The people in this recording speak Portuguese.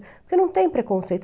Porque não tem preconceito.